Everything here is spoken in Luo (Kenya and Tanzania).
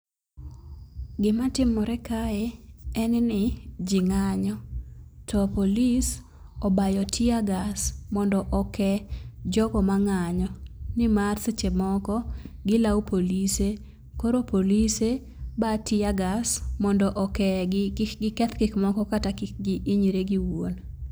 Gima timore kae en ni jii ng'anyo to police obayo teargas mondo okee jogo mang'anyo nimar seche moko gilawo polise koro polise ba teargas mondo okegi kik giketh gik moko kata kik giinyre giwuon.